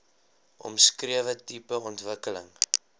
omskrewe tipe ontwikkeling